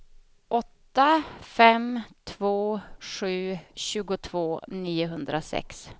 åtta fem två sju tjugotvå niohundrasex